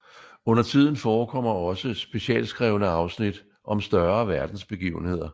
Undertiden forekommer også specialskrevne afsnit om større verdensbegivenheder